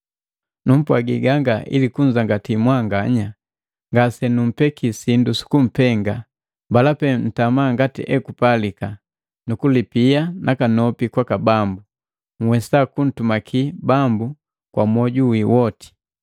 Numpwagi ganga ili kunzangati mwanganya, ngasenukumbeki sindu sukumpenga. Mbala pee mtama ngati ekupalika nukulipia nakanopi kwaka Bambu, nhwesa kuntumaki Bambu kwa mwoju wi woti.